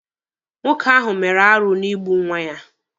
Nwoke ahụ mere arụ n'igbu nwa ya